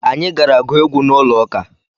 Anyị gara gụọ egwu n'ụlọụka